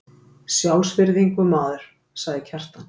Sjálfsvirðingu, maður, sagði Kjartan.